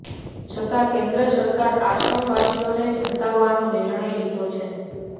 છતા કેન્દ્ર સરકાર આશ્રમવાસીઓને જ હટાવવાનો નિર્ણય લીધો છે